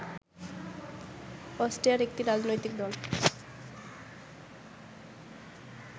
অস্ট্রিয়ার একটি রাজনৈতিক দল